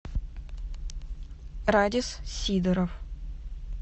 радис сидоров